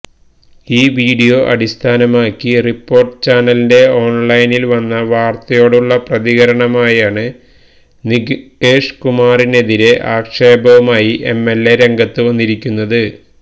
ഈ വീഡിയോ അടിസ്ഥാനമാക്കി റിപ്പോര്ട്ടര് ചാനലിന്റെ ഓണ്ലൈനില് വന്ന വാര്ത്തയോടുള്ള പ്രതികരണമായാണ് നികേഷ് കുമാറിനെതിരേ ആക്ഷേപവുമായി എംഎല്എ രംഗത്തു വന്നിരിക്കുന്നത്